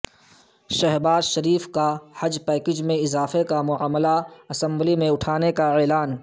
شہباز شریف کا حج پیکج میں اضافے کا معاملہ اسمبلی میں اٹھانے کا اعلان